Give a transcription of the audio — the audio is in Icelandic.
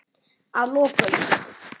Að lokum.